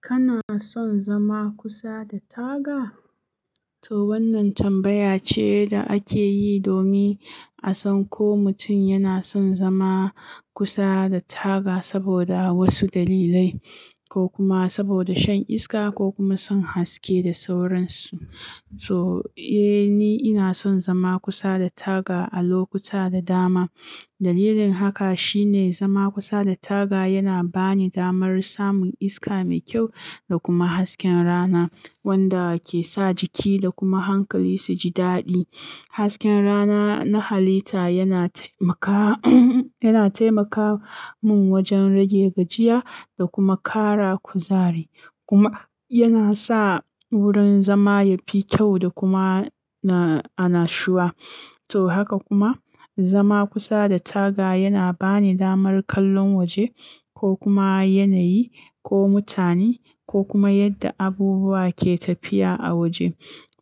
Kana son zama kusa da taga? To wannan tambaya ce da ake yi domin a san ko mutum yana son zama kusa da taga saboda wasu dalilai ko kuma saboda shan iska ko kuma son haske da sauransu. To, eh ni ina son zama kusa da taga a lokuta da dama. Dalilin haka shine zama kusa da taga yana bani damar samun iska mai kyau da kuma hasken rana wanda ke sa jiki da kuma hankali su ji daɗi. Hasken rana na halitta yana taimaka, yana taimaka mun wajen rage gajiya da kuma ƙara kuzari kuma yana sa wurin zama ya fi kyau da kuma na, anashuwa. To haka kuma zama kusa da taga yana bani damar kallon waje ko kuma yanayi ko mutane ko kuma yadda abubuwa ke tafiya a waje.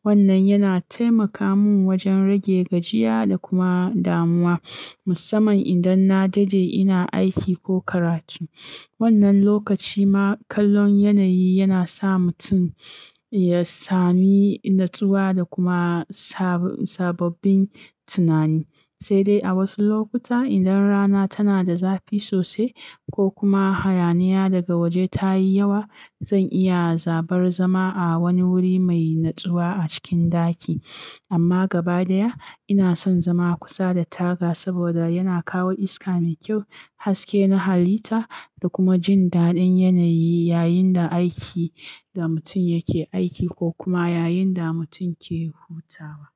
Wannan yana taimaka mun wajen rage gajiya da kuma damuwa musamman idan na daɗe ina aiki ko karatu. Wannan lokaci ma kallon yanayi yana sa mutum ya sami natsuwa da kuma sab sababbin tunani. Sai dai a wasu lokuta idan rana tana da zafi sosai ko kuma hayaniya daga waje ta yi yawa, zan iya zaɓar zama a wani wuri mai natsuwa a cikin ɗaki. Amma gaba ɗaya ina son zama kusa da taga saboda yana kawo iska mai kyau, haske na halitta da kuma jin daɗin yanayi yayin da aiki da mutum yake aiki ko kuma yayin da mutum yake hutawa.